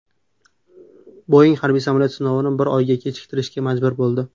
Boeing harbiy samolyot sinovini bir oyga kechiktirishga majbur bo‘ldi.